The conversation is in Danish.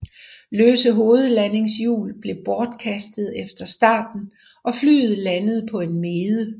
Løse hovedlandingshjul blev bortkastet efter starten og flyet landede på en mede